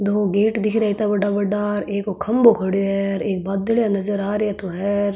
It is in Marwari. दो गेट दिख रहे है इत्ता बड़ा बड़ा एक खम्भों खड़ीयो है एक बादलिया नजर आ रिया तो हे।